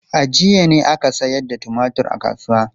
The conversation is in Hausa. A jiya ne aka sayar da tumatur a kasuwa.